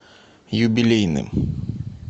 юбилейным